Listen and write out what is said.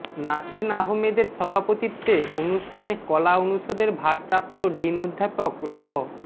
নাসরীন আহমাদের সভাপতিত্বে অনুষ্ঠানে কলা অনুষদের ভারপ্রাপ্ত ডিন অধ্যাপক ড